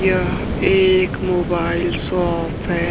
यह एक mobile shop है।